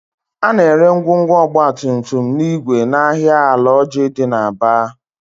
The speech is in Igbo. A na-ere ngwongwo ọgbatumtum na igwe n'ahịa Alaoji dị n'Aba